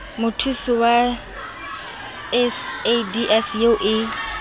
mothusi wa sadc eo e